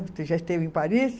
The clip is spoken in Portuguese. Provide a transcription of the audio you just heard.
Você já esteve em Paris?